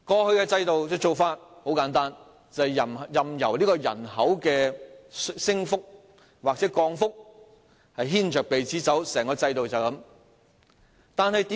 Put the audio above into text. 在過去制度下，做法很簡單，便是任由人口的升降牽着鼻子走，整個制度就是這樣。